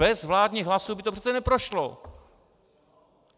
Bez vládních hlasů by to přece neprošlo.